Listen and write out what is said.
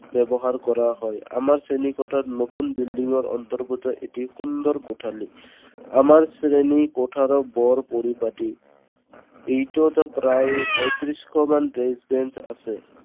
ব্যৱহাৰ কৰা হয় আমাৰ শ্ৰেণী কোঠাত নতুন building ৰ অন্তগৰ্ত এটি সুন্দৰ কোঠালি। আমাৰ শ্ৰেণী কোঠাৰো বৰ পৰিপাটি এইটোত প্ৰায় পয়ত্ৰিছশ মান desk bench আছে।